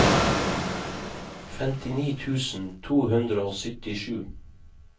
femtini tusen to hundre og syttisju